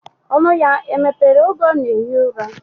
Onu ya emepere oge ona ehi ura?